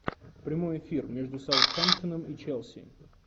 прямой эфир между саутгемптоном и челси